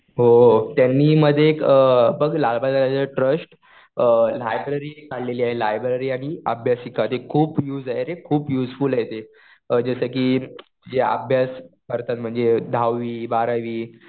हो. त्यांनी मध्ये एक बघ लालबागच्या राजाचा ट्रस्ट लायब्रेरी काढलेली आहे. लायब्रेरी आणि अभ्यासिका हे खूप युज रे. खूप युजफूल आहे ते. जसं कि जे अभ्यास करतात म्हणजे दहावी, बारावी